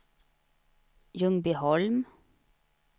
Ljungbyholm